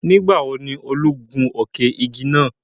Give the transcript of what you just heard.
Nigbawo ni Olu gun òkè-giga naa?